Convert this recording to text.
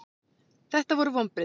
Þetta voru vonbrigði.